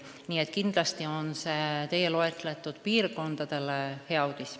Nii et kindlasti on see teie nimetatud piirkondadele hea uudis.